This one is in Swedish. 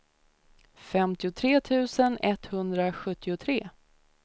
femtiotre tusen etthundrasjuttiotre